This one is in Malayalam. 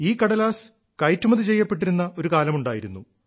ഈ കടലാസ് കയറ്റുമതി ചെയ്യപ്പെട്ടിരുന്ന ഒരു കാലമുണ്ടായിരുന്നു